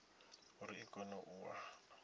uri i kone u wana